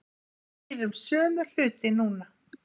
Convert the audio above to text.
Við heyrum sömu hluti núna